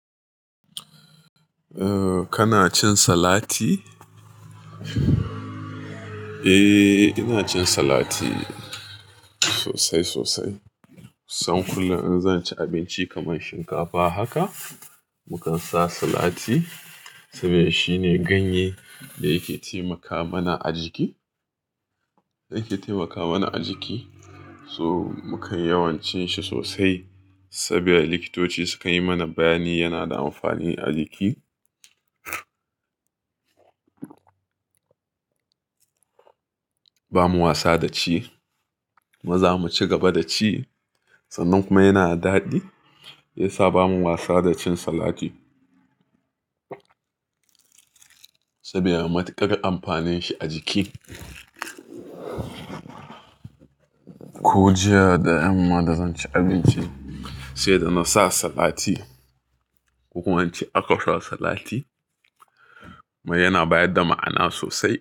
Kana cin salati? Eh ina cin salati sosai sosai. Kusan kullum in zan ci abinci kamar shinkafa haka, mukan sa salati saboda shine ganye da yake taimaka mana a jiki, yake taimaka mana a jiki. So mukan yawan cin shi sosai saboda likitoci suka yi mana bayani yana da amfani a jiki. Ba mu wasa da ci, maza mu ci gaba da ci sannan kuma yana daɗi. Ya sa ba mu wasa da cin salati. Saboda matuƙar amfanin shi a jiki. Ko jiya da yamma da zan ci abinci, sai da na sa salati. Ko kuma ince aka sa salati kanar yana bayar da ma'ana sosai.